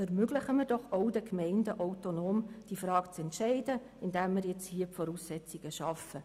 Ermöglichen wir doch den Gemeinden auch, diese Frage autonom zu entscheiden, indem wir jetzt hier die entsprechenden Voraussetzungen schaffen.